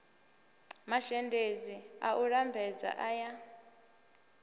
mazhendedzi a u lambedza aya